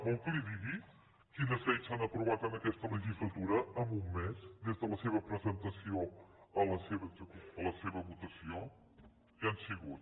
vol que li digui quines lleis s’han aprovat en aquesta legislatura en un mes des de la seva presentació a la seva votació hi han sigut